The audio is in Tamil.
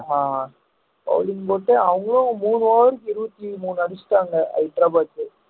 ஆமா bowling போட்டு அவங்களும் மூணு over க்கு இருபத்தி மூணு அடிச்சிட்டாங்க ஹைட்ரபாத்